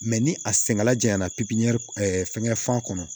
ni a sɛngɛla janya na fɛngɛ fan kɔnɔ